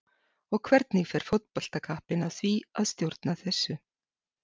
Og hvernig fer fótboltakappinn að því að stjórna þessu?